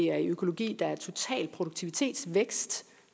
økologi der er i total produktivitetsvækst